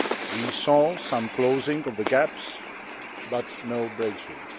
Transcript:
We saw some closing of the gaps, but no breakthrough.